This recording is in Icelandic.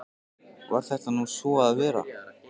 Varð þetta nú svo að vera.